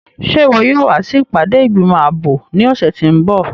Ṣe iwọ yóò wa si ipade igbimọ aabo ni ọsẹ ti n bọ?